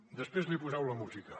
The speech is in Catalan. després li poseu la música